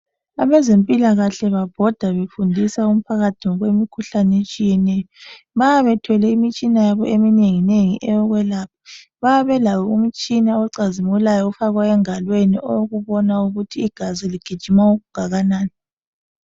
Abezempilakahle babhoda befundisa umphakathi ngemikhuhlane etshiyeneyo. Bayebe bethwele imitshina yabo eminenginengi eyokwelapha. Bayabe belayo imitshina ocazimulayo ofakwa engalweni owokubona ukuthi igazi ligijima okungakanani.